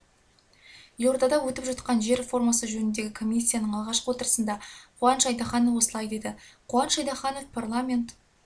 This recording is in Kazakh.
елордада өтіп жатқан жер реформасы жөніндегі комиссияның алғашқы отырысында қуаныш айтаханов осылай деді қуаныш айтаханов парламент